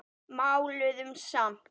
Máluðum samt.